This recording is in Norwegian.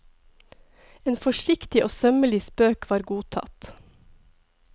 En forsiktig og sømmelig spøk var godtatt.